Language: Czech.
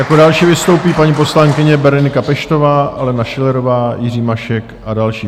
Jako další vystoupí paní poslankyně Berenika Peštová, Alena Schillerová, Jiří Mašek a další.